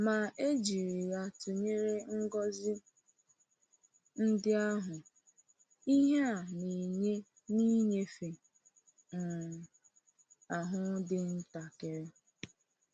Ma, e jiri ya tụnyere ngọzi ndị ahụ, ihe a na-enye n’ịnyefe um ahụ dị ntakịrị.